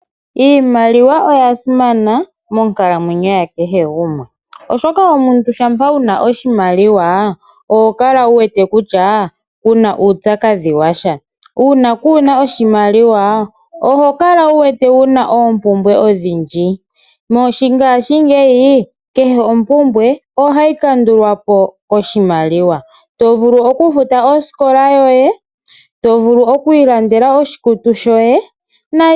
Iimaliwa oya simana monkalamwenyo yakehe gumwe ,oshoka omuntu shampa wuna oshimaliwa oho kala wu wete kutya kuna uupyakadhi washa .Uuna kuna oshimaliwa oho kala wu wete wuna oompumbwe odhindji. Mongashingeyi kehe ompumbwe ohayi kandulwa po koshimaliwa to vulu oku futa osikola yoye, to vulu oku ilandela oshikutu shoye.